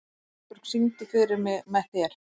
Kristborg, syngdu fyrir mig „Með þér“.